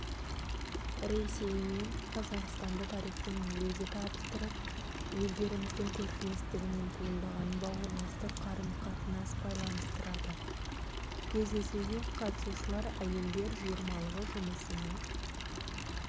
ресеймен қазақстанды тарихтың өзі табыстырып елдеріміздің көршілестігінен туындаған бауырластық қарым-қатынас байланыстырады кездесуге қатысушылар әйелдер жиырмалығы жұмысының